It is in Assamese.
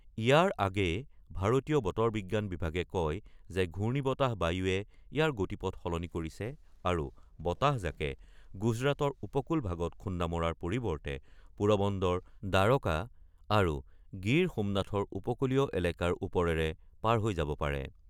ইয়াৰ আগেয়ে ভাৰতীয় বতৰ বিজ্ঞান বিভাগে কয় যে ঘূৰ্ণিবতাহ বায়ুৱে ইয়াৰ গতিপথ সলনি কৰিছে আৰু বতাহজাকে গুজৰাটৰ উপকুল ভাগত খুন্দামৰাৰ পৰিৱৰ্তে পোৰবন্দৰ, দ্বাৰকা আৰু গীৰ সোমনাথৰ উপকূলীয় এলেকাৰ ওপৰেৰে পাৰ হৈ যাব পাৰে।